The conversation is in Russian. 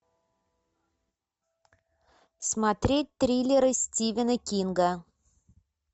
смотреть триллеры стивена кинга